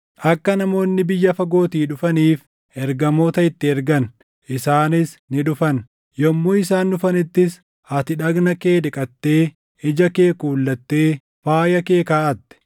“Akka namoonni biyya fagootii dhufaniif ergamoota itti ergan; isaanis ni dhufan; yommuu isaan dhufanittis ati dhagna kee dhiqattee, ija kee kuulattee faaya kee kaaʼatte.